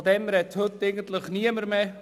Davon spricht heute eigentlich niemand mehr.